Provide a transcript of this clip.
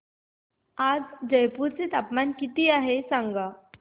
आज जयपूर चे तापमान किती आहे सांगा